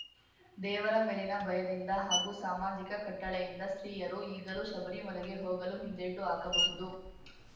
ದೇವರ ಮೇಲಿನ ಭಯದಿಂದ ಹಾಗೂ ಸಾಮಾಜಿಕ ಕಟ್ಟಳೆಯಿಂದ ಸ್ತ್ರೀಯರು ಈಗಲೂ ಶಬರಿಮಲೆಗೆ ಹೋಗಲು ಹಿಂದೇಟು ಹಾಕಬಹುದು